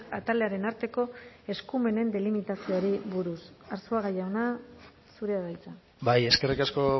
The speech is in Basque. atalearen arteko eskumenen delimitazioari buruz arzuaga jauna zurea da hitza bai eskerrik asko